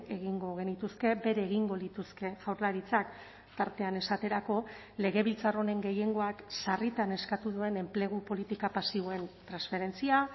egingo genituzke bere egingo lituzke jaurlaritzak tartean esaterako legebiltzar honen gehiengoak sarritan eskatu duen enplegu politika pasiboen transferentzia